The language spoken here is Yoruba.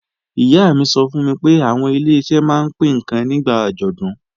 Ìyá mi sọ fún mi pé àwọn Ileṣẹ́ máa ń pín ǹkan nígbà àjọ̀dún